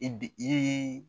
I bi